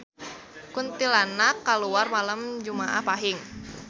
Kuntilanak kaluar malem jumaah Pahing